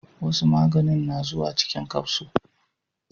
Wasu maganin na zuwa cikin kafso